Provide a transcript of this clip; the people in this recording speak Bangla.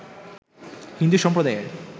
হিন্দু সম্প্রদায়ের